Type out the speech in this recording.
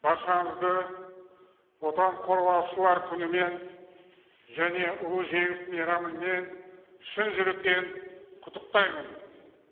баршаңызды отан қорғаушылар күнімен және ұлы жеңіс мейрамымен шын жүректен құттықтаймын